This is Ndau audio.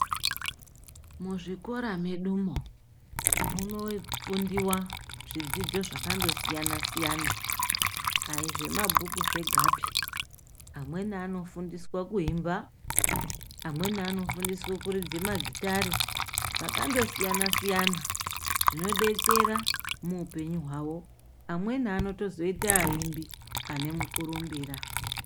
Muzvikora medumo munofundiwa zvidzidzo zvakandosiyana-siyana. Aizvemabhuku zvegapi, amweni anofundiswa kuemba, amweni anofundiswa kuridza magitare. Zvakandosiyana-siyana zvinodetsera muupenyu hwavo. Amweni anotozoita aimbi ane mukurumbira.